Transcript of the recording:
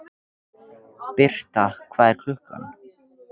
Birta, hvað er klukkan?